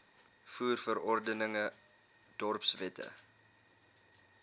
voer verordeninge dorpswette